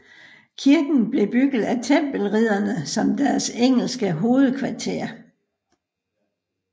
Kirken blev bygget af Tempelridderne som deres engelske hovedkvarter